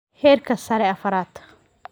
Heerka sare afraad